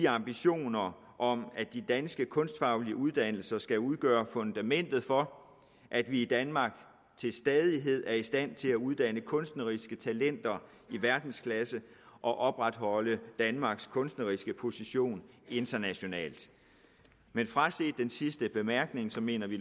ambitionerne om at de danske kunstfaglige uddannelser skal udgøre fundamentet for at vi i danmark til stadighed er i stand til at uddanne kunstneriske talenter i verdensklasse og opretholde danmarks kunstneriske position internationalt men fraset den sidste bemærkning mener vi